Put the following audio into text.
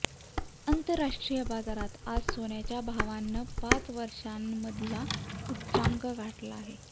आंतरराष्ट्रीय बाजारात आज सोन्याच्या भावानं पाच वर्षांमधला उच्चांक गाठला आहे